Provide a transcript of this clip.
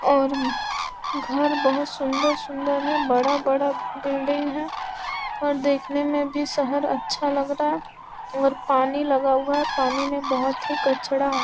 और घर बहुत सुंदर-सुंदर है बड़ा-बड़ा बिल्डिंग { है और देखने में भी शहर अच्छा लग रहा है और पानी लगा हुआ है पानी में बहुत ही कचरा हैं।}